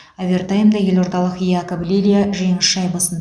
овертаймда елордалық якоб лилья жеңіс шайбасын